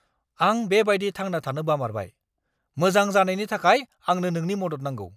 आं बेबायदि थांना थानो बामारबाय! मोजां जानायनि थाखाय आंनो नोंनि मदद नांगौ।